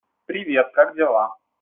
привет как дела